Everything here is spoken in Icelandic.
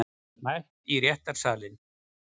Mætt í réttarsalinn